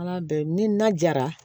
Ala bɛn ni na jara